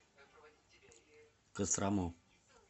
кострому